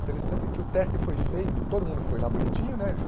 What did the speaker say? Interessante que o teste foi feito, todo mundo foi lá bonitinho, né?